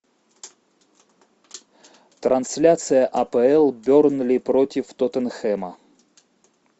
трансляция апл бернли против тоттенхэма